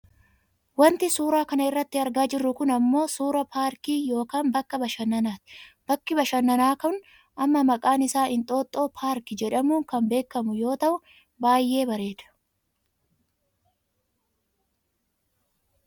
Wanti suuraa kana irratti argaa jirru kun ammoo suuraa paarkii yookaan bakka bashannaati . Bakki bashannanaa kun ammoo maqaan isaan " Inxooxoo" parka jedhamuun kan beekkamu yoo ta'u baayyee bareedaa.